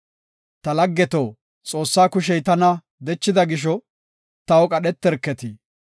Ta laggeto, Xoossaa kushey tana dechida gisho, taw qadheterketi.